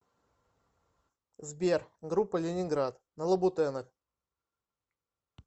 сбер группа ленинград на лабутенах